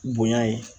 Bonya ye